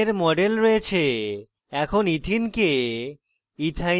panel ethene ethene we model রয়েছে